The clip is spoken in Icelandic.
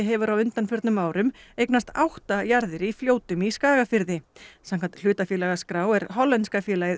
hefur á undanförnum árum eignast átta jarðir í Fljótum í Skagafirði samkvæmt hlutafélagaskrá er hollenska félagið